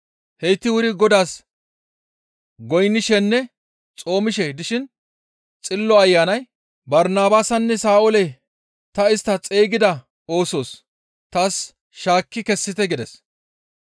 Heyti wuri Godaas goynnishenne xoomishe dishin Xillo Ayanay, «Barnabaasanne Sa7oole ta istta xeygida oosos taas shaakki kessite» gides.